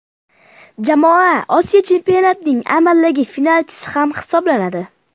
Jamoa Osiyo Chempionatining amaldagi finalchisi ham hisoblanadi.